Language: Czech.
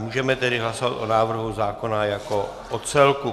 Můžeme tedy hlasovat o návrhu zákona jako o celku.